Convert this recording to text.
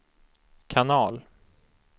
kanal